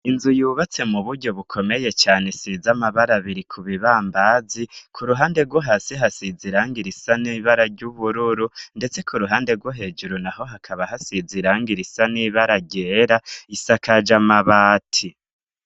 Inzu yubatse mu buryo bukomeye cane isize amabara biri ku bibambazi, ku ruhande rwo hasi hasiz iranga risa nibara ry'ubururu, ndetse ku ruhande rwo hejuru naho hakaba hasize irangi irisa nibara ryera risakaje amabati.